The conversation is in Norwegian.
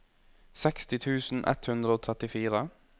seksti tusen ett hundre og trettifire